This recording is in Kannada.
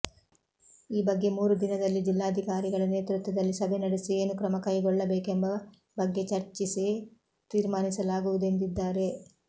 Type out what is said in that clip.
ಈ ಬಗ್ಗೆ ಮೂರು ದಿನದಲ್ಲಿ ಜಿಲ್ಲಾಧಿಕಾರಿಗಳ ನೇತೃತ್ವದಲ್ಲಿ ಸಭೆ ನಡೆಸಿ ಏನು ಕ್ರಮ ಕೈಗೊಳ್ಳಬೇಕೆಂಬ ಬಗ್ಗೆ ಚರ್ಚಿಸಿ ತೀರ್ಮಾನಿಸಲಾಗುವುದೆಂದಿದ್ದಾರೆ